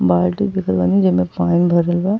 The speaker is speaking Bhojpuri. बाल्टी देखत बानी जेमें पानी भरल बा।